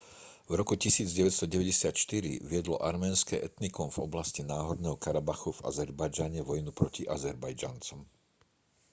v roku 1994 viedlo arménske etnikum v oblasti náhorného karabachu v azerbajdžane vojnu proti azerbajdžancom